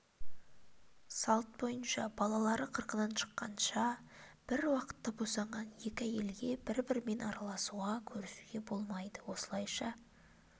салт бойынша балалары қырқынан шыққанша бір уақытта босанған екі әйелге бір-бірімен араласуға көрісуге болмайды осылайша